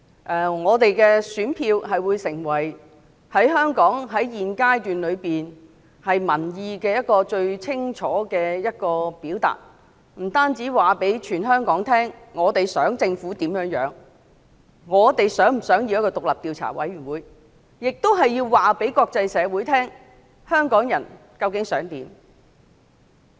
選民的選票會成為香港現階段最能清楚表達民意的方法，不單可以讓香港所有人知道我們希望政府怎樣做，我們是否希望成立獨立調查委員會，亦能讓國際社會知道香港人究竟想怎樣。